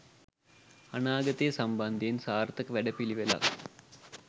අනාගතය සම්බන්ධයෙන් සාර්ථක වැඩ පිළිවෙළක්